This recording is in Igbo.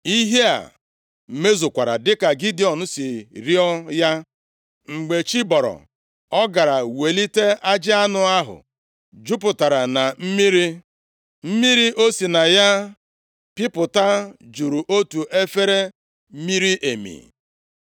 Ihe a mezukwara dịka Gidiọn si rịọọ ya. Mgbe chi bọrọ, ọ gara welite ajị anụ ahụ chọpụta na o jupụtara na mmiri. Mmiri o si na ya pịpụta juru otu efere miri emi.